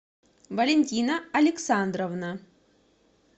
валентина александровна